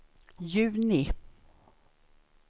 juni